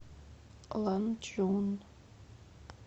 ланчжун